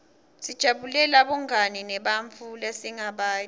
sijabulela bungani nebantfu lesingabati